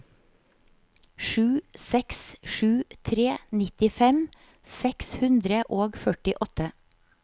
sju seks sju tre nittifem seks hundre og førtiåtte